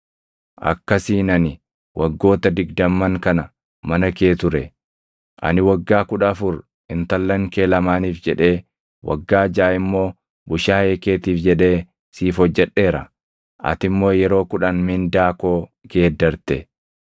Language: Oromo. Akkasiin ani waggoota digdamman kana mana kee ture. Ani waggaa kudha afur intallan kee lamaaniif jedhee, waggaa jaʼa immoo bushaayee keetiif jedhee siif hojjedheera; ati immoo yeroo kudhan mindaa koo geeddarte.